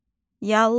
Yallı.